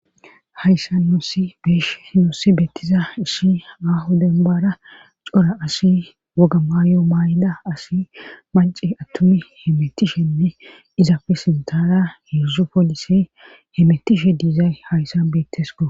hayssan nuussi beeshe nuussi bettiza isshi ahu denbara cora asi woga maayo maay7ida asi manci attumi hemetishenne izafi sintara heedzdzu poolise hemetishe diizay hayssan beettes ko